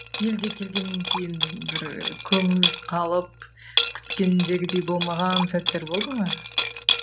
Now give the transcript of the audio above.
елге келгеннен кейін бір көңіліңіз қалып күткендегідей болмаған сәттер болды ма